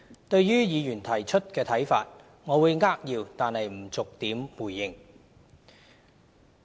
對於議員提出的看法，我會扼要但不逐點回應。